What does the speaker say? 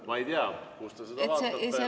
Ma ei tea, kust te seda vaatate.